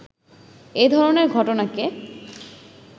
এ ধরনের ঘটনাকে